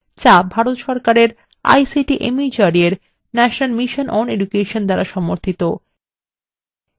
যা ভারত সরকারের ict mhrd এর national mission on education দ্বারা সমর্থিত